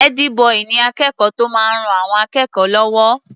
Ẹ́dí-bọì ni akẹ́kọ̀ọ́ tó máa ń ran àwọn akẹ́kọ̀ọ́ lọ́wọ́.